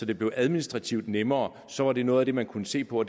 det blev administrativt nemmere så var det noget af det man kunne se på